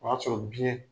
O y'a sɔrɔ biyɛn